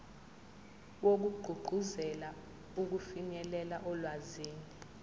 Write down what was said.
wokugqugquzela ukufinyelela olwazini